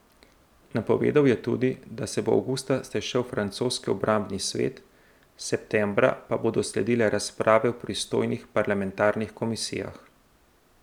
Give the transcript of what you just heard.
Napovedal je tudi, da se bo avgusta sešel francoski obrambni svet, septembra pa bodo sledile razprave v pristojnih parlamentarnih komisijah.